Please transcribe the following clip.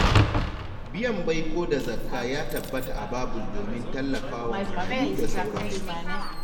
Biyan baiko da zakka ya tabbata a Babul domin tallafa wa marayu da sauransu.